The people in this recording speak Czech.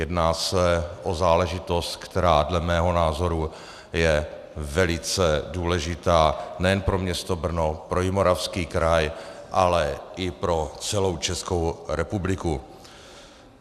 Jedná se o záležitost, která dle mého názoru je velice důležitá nejen pro město Brno, pro Jihomoravský kraj, ale i pro celou Českou republiku.